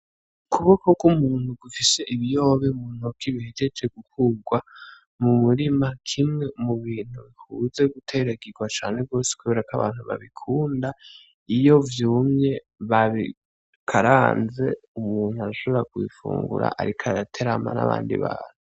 Ukuboko kw'umuntu gufise ibiyoba mu ntoke bihejeje gukurwa mu murima, kimwe mu bintu bikunze guteragirwa cane gose kubera ko abantu babikunda, iyo vyumye babikaranze umuntu arashobora kubifungura ariko araterama n'abandi bantu.